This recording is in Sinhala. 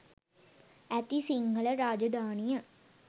ඇති සිංහල රාජධානිය